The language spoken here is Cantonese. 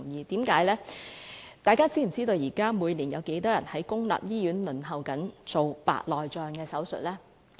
大家知否每年有多少人輪候在公立醫院接受白內障手術？